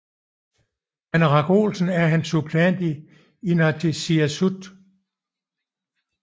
Paneeraq Olsen er hans suppleant i inatsisartut